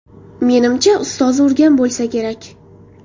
Menimcha, ustozi urgan bo‘lsa kerak.